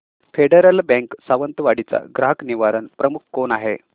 federal Bank Sawantwadi चा ग्राहक निवारण प्रमुख कोण आहे